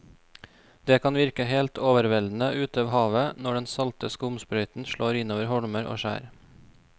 Det kan virke helt overveldende ute ved havet når den salte skumsprøyten slår innover holmer og skjær.